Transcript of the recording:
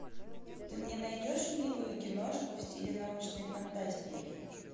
ты мне найдешь милую киношку в стиле научной фантастики